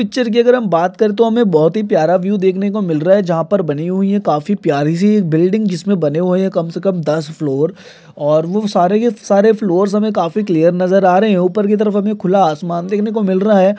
Picture की अगर हम बात करे तो हमें बहुत ही प्यारा व्यू देखने को मिल रहा है जहां पर बनी हुई है काफी प्यारी सी एक बिल्डिंग जिसमें बने हुए है कम से कम दस फ्लोर और वो सारे के सारे फ्लोर्स हमें काफी क्लीयर नजर आ रहे है ऊपर की तरफ हमें खुला आसमान देखने को मिल रहा है।